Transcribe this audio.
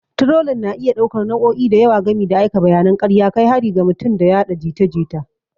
Turolin na iya ɗaukar nau'o'i da yawa gami da aika bayanan karya, kai harin ga mutum, da yaɗa jita jita.